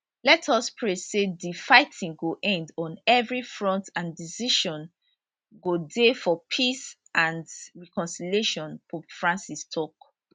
let us pray say di fighting go end on evri front and decision go dey for peace and reconciliation pope francis tok